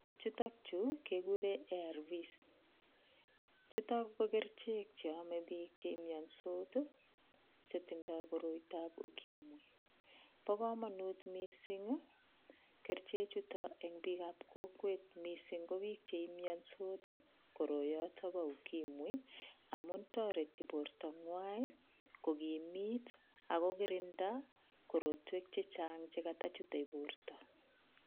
Chron Chu kekuren erveschuton kokerchek Cheome bikchemiondos chetindo korotap ukimwi Bokamanut mising kerchek chuton enbik ap kokwet mising kobik chemiansot koroiyoton ba ukimwi amun toreti borto nwang kokimit akokerindo korotwek chechang chikoto chute borto